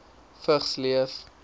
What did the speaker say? vigs leef